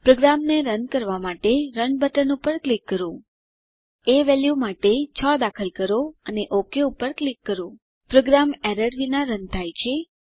પ્રોગ્રામને રન કરવાં માટે રન બટન પર ક્લિક કરીએ એ વેલ્યુ માટે 6 દાખલ કરો અને ઓક પર ક્લિક કરો પ્રોગ્રામ એરર્સ વિના રન થાય છે